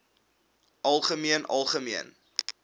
algemeen algemeen